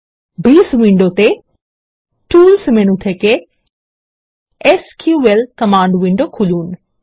base উইন্ডোতে tools menu থেকে SQL command window খুলুন